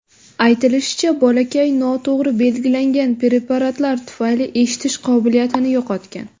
Aytilishicha, bolakay noto‘g‘ri belgilangan preparatlar tufayli eshitish qobiliyatini yo‘qotgan.